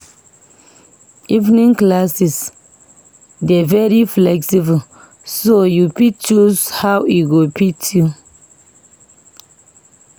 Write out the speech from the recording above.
Evening classes dey very flexible, so you fit choose how e go fit u.